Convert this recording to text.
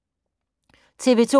TV 2